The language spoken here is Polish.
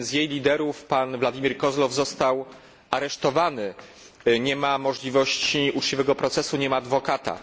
Jeden z jej liderów, pan Władimir Kozłow, został aresztowany, nie ma możliwości uczciwego procesu, ani nie ma adwokata.